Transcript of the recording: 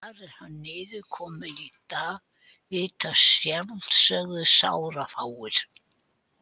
Hvar hann er niðurkominn í dag vita að sjálfsögðu sárafáir.